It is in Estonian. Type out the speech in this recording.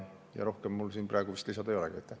Rohkem mul praegu vist midagi lisada ei olegi.